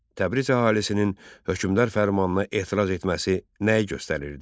Təbriz əhalisinin hökmdar fərmanına etiraz etməsi nəyi göstərirdi?